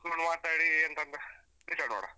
ಕೂತ್ಕೊಂಡು ಮಾತಾಡಿ ಎಂತ ಅಂತ decide ಮಾಡ್ವಾ.